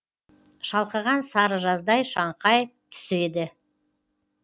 шалқыған сары жаздай шаңқай түсі еді